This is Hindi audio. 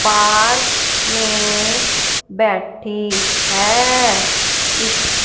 पार्क में बैठी हैं इस--